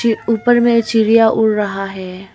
एक ऊपर में चिड़िया उड़ रहा है।